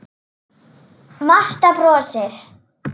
Marta brosir.